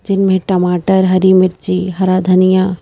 जिनमें टमाटर हरी मिर्ची हरा धनिया--